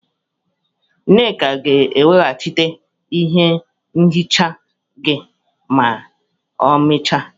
Nneka ga-eweghachite ihe nhicha gị ma ọ mechaa.